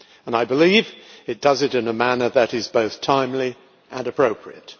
I believe it does it in a manner that is both timely and appropriate.